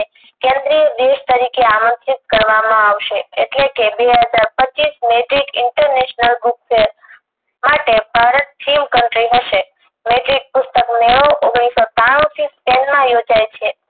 કેન્દ્રીય દેશ તરીકે આમંત્રિત કરવામાં આવશે એટલે કે બે હજાર પચીસ metric international book fare માટે ભારત same country હશે metric પુસ્તક મેળો ઓગણીસો ત્રાણુ થી સ્પેન યોજાય છે